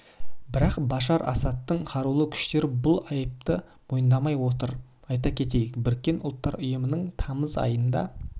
бірақ башар асадтың қарулы күштері бұл айыпты мойындамай отыр айта кетейік біріккен ұлттар ұйымының тамыз айында